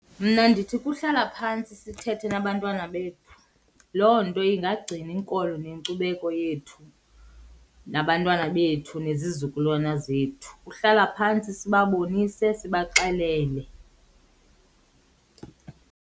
Mna ndithi kuhlala phantsi sithethe nabantwana bethu, loo nto ingagcina inkolo nenkcubeko yethu nabantwana bethu nezizukulwana zethu. Kuhlala phantsi sibabonise sibaxelele.